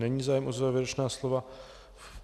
Není zájem o závěrečná slova.